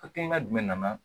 Hakilina jumɛn nana